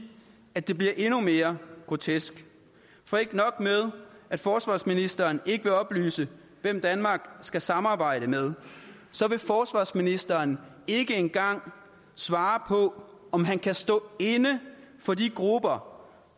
at det bliver endnu mere grotesk for ikke nok med at forsvarsministeren ikke vil oplyse hvem danmark skal samarbejde med men forsvarsministeren ikke engang svare på om han kan stå inde for de grupper